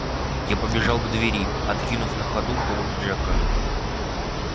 я побежал к двери откинув на ходу полу пиджака